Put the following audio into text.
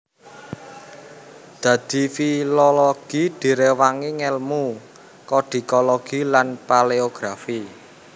Dadi filologi diréwangi ngèlmu kodikologi lan paléografi